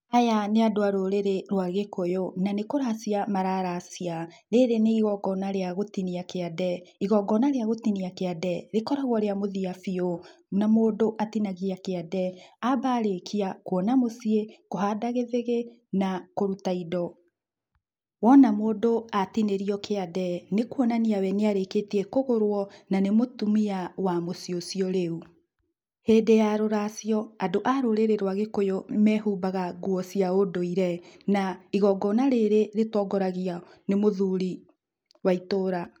Aya nĩ andũ a rũrĩrĩ rwa Gĩkũyũ na nĩ kũracia mara racia, rĩrĩ nĩ igongona rĩa gũtinia kĩande, igongona rĩa gũtinia kĩande rĩkoragwo rĩa mũthia biũ na mũndũ atinagia kĩande amba arĩkia kwona mũciĩ, kũhanda gĩthĩgĩ na kũruta indo. Wona mũndũ atinĩrio kĩande nĩ kwonania we nĩ arĩkĩtie kũgũrwo na nĩ mũtumia wa mũciĩ ũcio rĩu, hĩndĩ ya rũracio andũ a rũrĩrĩ rwa Gĩkũyũ mehumbaga nguo cia ũndũire na igongona rĩrĩ rĩtongoragio nĩ mũthuri wa itũũra.